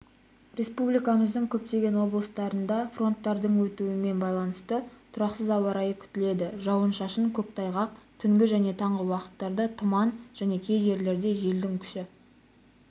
республикамыздың көптеген облыстарында фронттардың өтуімен байланысты тұрақсыз ауа-райы күтіледі жауын-шашын көктайғақ түнгі және таңғы уақыттарда тұман және кей жерлерде желдің күші